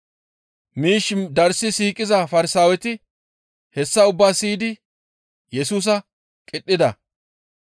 Miish darssi siiqiza Farsaaweti hessa ubbaa siyidi Yesusa qidhida.